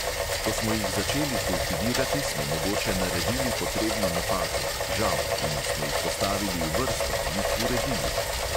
Ko smo jih začeli kultivirati, smo mogoče naredili potrebno napako, žal, in smo jih postavili v vrsto, jih uredili.